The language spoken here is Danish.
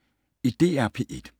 DR P1